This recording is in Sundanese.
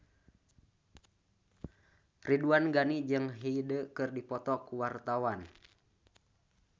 Ridwan Ghani jeung Hyde keur dipoto ku wartawan